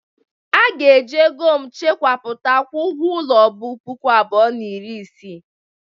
A ga-eji ego m chekwapụta kwụọ ụgwọ ulo bu puku abụọ na iri isii.